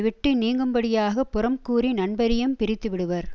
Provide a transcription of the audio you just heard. விட்டு நீங்கும்படியாகப் புறம் கூறி நண்பரையும் பிரித்து விடுவர்